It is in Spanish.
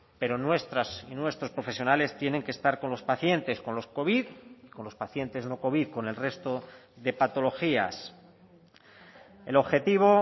pero nuestras y nuestros profesionales tienen que estar con los pacientes con los covid con los pacientes no covid con el resto de patologías el objetivo